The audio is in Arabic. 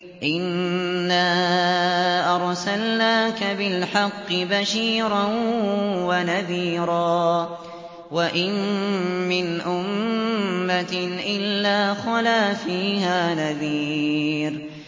إِنَّا أَرْسَلْنَاكَ بِالْحَقِّ بَشِيرًا وَنَذِيرًا ۚ وَإِن مِّنْ أُمَّةٍ إِلَّا خَلَا فِيهَا نَذِيرٌ